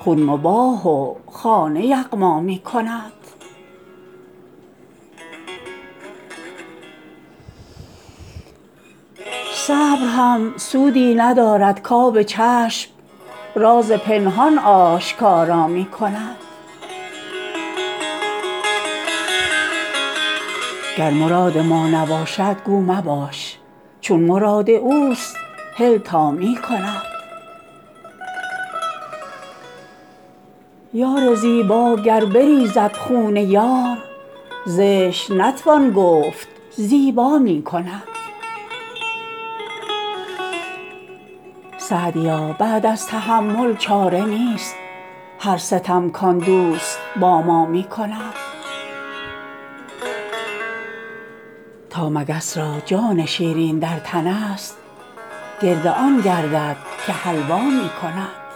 خون مباح و خانه یغما می کند صبر هم سودی ندارد کآب چشم راز پنهان آشکارا می کند گر مراد ما نباشد گو مباش چون مراد اوست هل تا می کند یار زیبا گر بریزد خون یار زشت نتوان گفت زیبا می کند سعدیا بعد از تحمل چاره نیست هر ستم کآن دوست با ما می کند تا مگس را جان شیرین در تنست گرد آن گردد که حلوا می کند